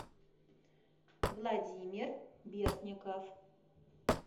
владимир бертников